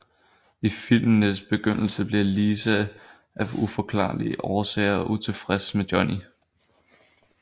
I filmens begyndelse bliver Lisa af uforklarlige årsager utilfreds med Johnny